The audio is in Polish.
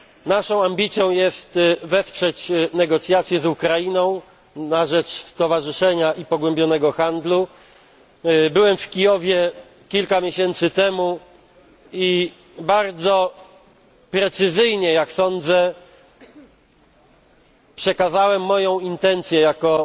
ja. Naszą ambicją jest wesprzeć negocjacje z Ukrainą na rzecz stowarzyszenia i pogłębionego handlu. Byłem kilka miesięcy temu w Kijowie i bardzo precyzyjnie, jak sądzę, przekazałem moją intencję